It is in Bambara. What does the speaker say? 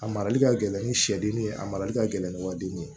A marali ka gɛlɛn ni sɛdennin ye a marali ka gɛlɛn ni wa den ye